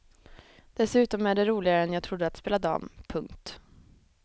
Dessutom är det roligare än jag trodde att spela dam. punkt